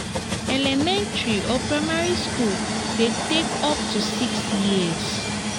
elementary or primary school de take up to six years